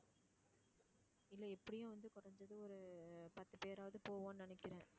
இல்ல எப்படியும் ஒரு பத்து பேராவது போவோம்னு நினைக்குறேன்.